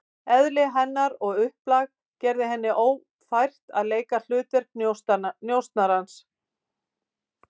Eðli hennar og upplag gerði henni ófært að leika hlutverk njósnarans.